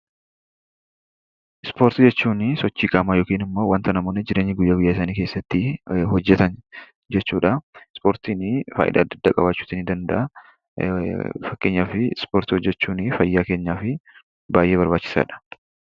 Ispoortii jechuun sochii qaamaa yookin wantoota namoonni jireenya isaanii guyyaa guuyaa keessatti hojjetan jechuudha. Ispoortiin faayidaa adda addaa qabaachuu nidand'a. Fekkeenyaaf ispoortii hojjechuun fayyaa keenyaaf baay'ee barbaachisaadha.